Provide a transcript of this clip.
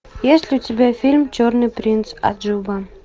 есть ли у тебя фильм черный принц аджуба